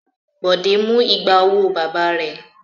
Bọ̀dé mú igba owó bàbá rẹ̀.